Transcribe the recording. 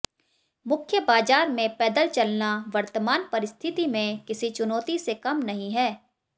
मुख्य बाजार में पैदल चलना वर्तमान परिस्थिति में किसी चुनौती से कम नहीं है